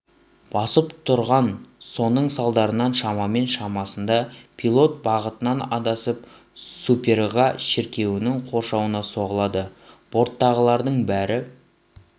басып тұрған соның салдарынан шамамен шамасында пилот бағытынан адасып суперга шіркеуінің қоршауына соғылады борттағылардың бәрі